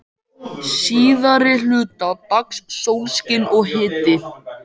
Síðari hluta dags sólskin og hiti.